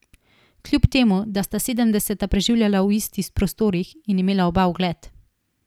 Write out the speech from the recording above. Kljub temu da sta sedemdeseta preživljala v istih prostorih in imela oba ugled.